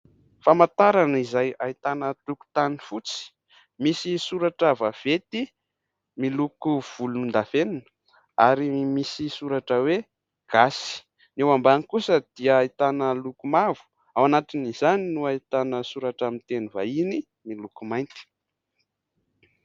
Famantarana izay ahitana tokotany fotsy, misy soratra vaventy miloko volondavenona ary misy soratra hoe gasy. Eo ambany kosa dia ahitana loko mavo, ao anatin'izany no ahitana soratra amin'ny teny vahiny miloko mainty.